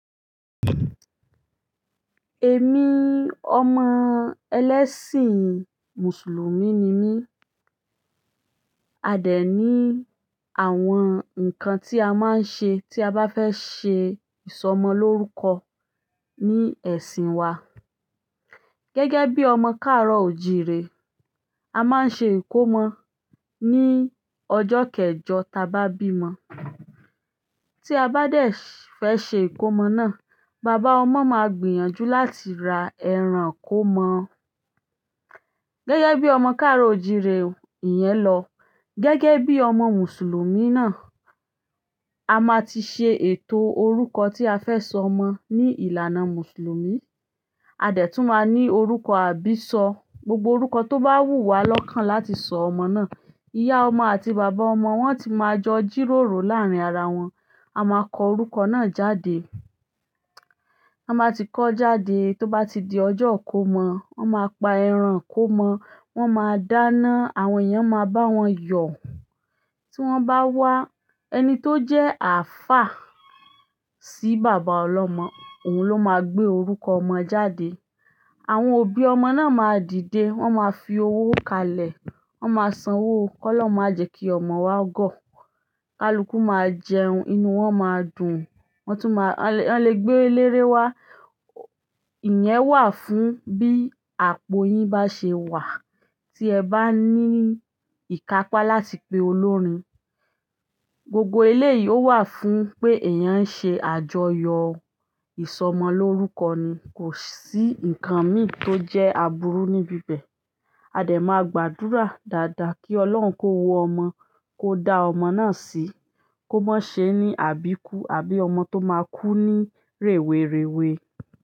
Èmi, ọmọ ẹlẹ́sìn mùsùlùmí ni mí. A dè ní àwọn nǹkan tí a máa ń ṣe tí a bá fẹ́ ṣe ìsọmọ lórúkọ ní ẹ̀sìn wa. Gẹ́gẹ́ bíi ọmọ kaaro o jii re, a maa ṣe ikomo ni ọjọ keejo ta ba bimo tí a bá dè fé ṣe ìkómọ náà, bàbá ọmọ máa gbìyànjú láti ra ẹran ikómọ. Gẹ́gẹ́ bí ọmọ káàró òjì re o ìyẹn lọ, gẹ́gẹ́ bí ọmọ mùsùlùmí náà, a máa ti ṣe ètò orúkọ tí a fẹ́ sọ ọmọ ní ìlànà mùsùlùmí. A dè tún máa ní orúkọ àbíṣọ. Gbogbo orúkọ tó bá wù wá lọ́kàn láti sọ ọmọ náà, ìyá ọmọ àti bàbá ọmọ wọ́n ti máa jọ jìròrò láàárín ara wọn, a máa kọ orúkọ náà jáde. Ti wọn baa ti kọ jáde tó bá ti di ọjọ́ ikómọ, wọ́n máa pa ẹran ikómọ, wọ́n máa dáná, àwọn èèyàn máa bá wọn yọ̀. Tí wọ́n bá wá, ẹni tó jẹ́ àfáà sí bàbá ọlọ́mọ, òun ló máa gbé orúkọ ọmọ jáde. Àwọn òbí ọmọ náà máa dìde, wọ́n máa fi owó kalẹ̀, wọ́n máa sanwó. Kọ́lọ̀hun máa jẹ́ kí ọmọ wa gọ̀. Kaluku máa jẹun, inú wọn máa dùn. Wọ́n tún máa-- wọ́n lè gbé eléré wá. Ìyẹn wà fún bí àpò yín bá ṣe wà tí ẹ bá ní ìkápá láti pe olórin. Gbogbo eléyìí ó wà fún pé ẹ̀eyàn ń ṣe àjọyọ̀ ìsọmọ lórúkọ ni, kò sí nǹkan mì tó jẹ́ aburú níbí bẹ̀. A dè máa gbàdúrà dáadáa kí Ọlọ́run kó wo ọmọ, kó dá ọmọ náà sí, kó má ṣe ní àbíkú àbí ọmọ tó máa kú ní rèwerèwe.